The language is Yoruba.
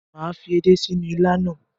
Mà á fi edé sínú il náà.